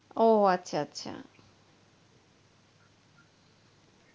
ও আচ্ছা আচ্ছা.